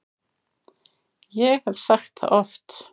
Ég hef sagt það oft.